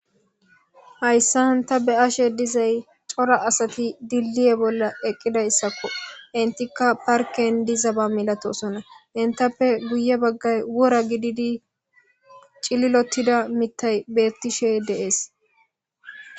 hayssan ta be:ashe dizay cora asati dilliye bolla eqqidayssakko intikka parken dizaba milatosona intappe guye baggay wora gididi cililottida mitay bettishey dee'es